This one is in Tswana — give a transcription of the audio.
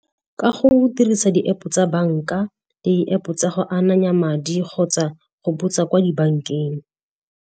Ka go dirisa di-App tsa banka, di-App tsa go ananya madi kgotsa go botsa kwa dibankeng.